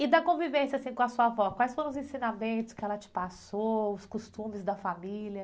E da convivência, assim, com a sua avó, quais foram os ensinamentos que ela te passou, os costumes da família?